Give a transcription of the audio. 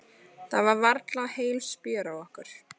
Það var varla heil spjör á okkur.